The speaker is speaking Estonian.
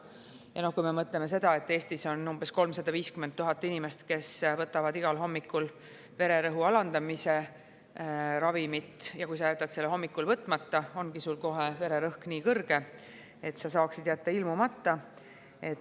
Ja kui me mõtleme seda, et Eestis on umbes 350 000 inimest, kes võtavad igal hommikul vererõhu alandamise ravimit, ja kui sa jätad selle hommikul võtmata, ongi sul kohe vererõhk nii kõrge, et sa saad jätta kohale ilmumata.